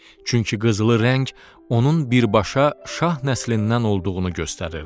Çünki qızılı rəng onun birbaşa şah nəslindən olduğunu göstərirdi.